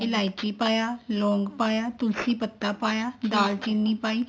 ਇਲਾਇਚੀ ਪਾਇਆ ਲੋਂਗ ਪਾਇਆ ਤੁਲਸੀ ਪੱਤਾ ਪਾਇਆ ਦਾਲ ਚੀਨੀ ਪਾਈ